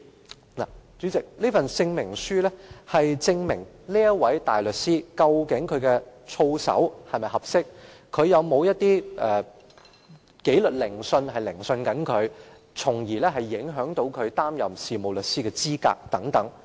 代理主席，這證明書是用作證明該名大律師的操守是否合適，以及是否正在接受任何紀律研訊，以致影響其擔任事務律師的資格等。